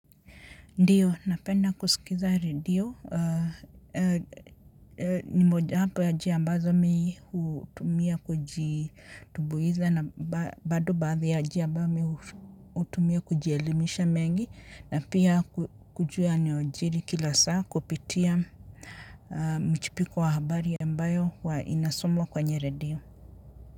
Ndiyo, napenda kusikiza radio, ni mojawapo ya njia ambazo mimi hutumia kujitumbuiza na bado baadhi ya njia ambayo mimi hutumia kujielimisha mengi na pia kujua yanayojiri kila saa kupitia mchipuko wa habari ambayo inasomwa kwenye redio.